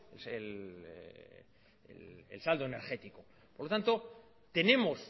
el saldo energético por tanto tenemos